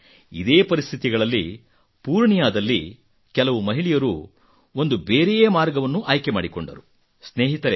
ಆದರೆ ಇದೇ ಪರಿಸ್ಥಿತಿಗಳಲ್ಲಿ ಪೂರ್ಣಿಯಾದಲ್ಲಿ ಕೆಲವು ಮಹಿಳೆಯರು ಒಂದು ಬೇರೆಯೇ ಮಾರ್ಗವನ್ನು ಆಯ್ಕೆ ಮಾಡಿಕೊಂಡರು